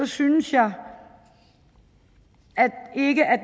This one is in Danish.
synes jeg ikke at